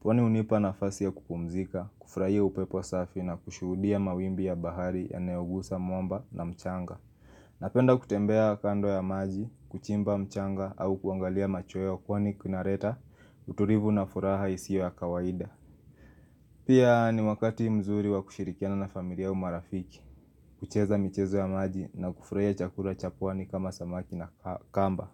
pwani unipa na fasi ya kupumzika, kufurahia upepo safi na kushuhudia mawimbi ya bahari yanayo gusa mwamba na mchanga Napenda kutembea kando ya maji, kuchimba mchanga au kuangalia machweo kwani kuna reta, uturivu na furaha isio ya kawaida Pia ni wakati mzuri wa kushirikiana na familia au marafiki, kucheza michezo ya maji na kufurahia chakura cha pwani kama samaki na kamba.